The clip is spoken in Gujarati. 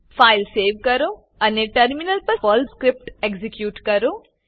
ફાઈલ સેવ કરો અને ટર્મિનલ પર પર્લ સ્ક્રીપ્ટ એક્ઝીક્યુટ કરો